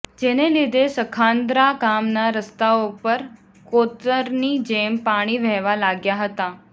જેને લીધે સખાન્દ્રા ગામના રસ્તાઓ પર કોતરની જેમ પાણી વહેવા લાગ્યા હતા